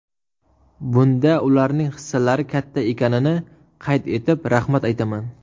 Bunda ularning hissalari katta ekanini qayd etib, rahmat aytaman.